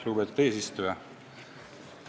Lugupeetud eesistuja!